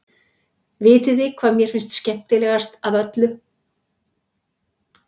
Vitiði hvað mér finnst skemmtilegast af öllu?